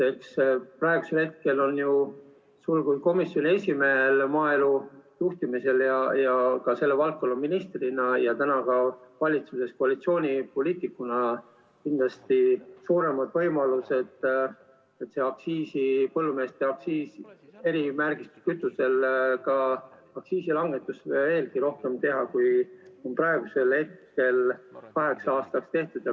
Praegu aga on ju sul kui koalitsioonipoliitikul ja komisjoni esimehel, nagu sul olid ka selle valdkonna ministrina maaelu juhtimisel kindlasti suured võimalused selle põllumeestele mõeldud erimärgistatud kütuse aktsiisi veelgi rohkem langetada, kui on praegu kaheks aastaks tehtud.